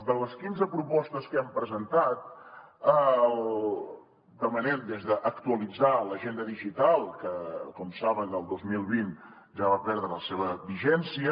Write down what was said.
de les quinze propostes que hem presentat demanem des d’actualitzar l’agenda digital que com saben el dos mil vint ja va perdre la seva vigència